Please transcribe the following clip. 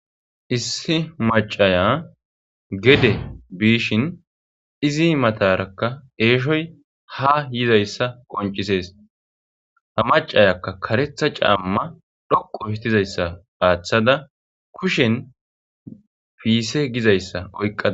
Issi maciya gede bishin izzi matarakka eshoy ha yizayssa qoncisees ha maciyakka karetha cama dhoqu gizayssa athada kushen pisse gizayssa oyqadus.